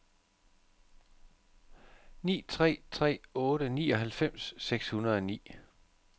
ni tre tre otte nioghalvfems seks hundrede og ni